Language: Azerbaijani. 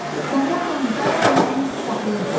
Dayanın, dayanın, əlinizi saxlayın.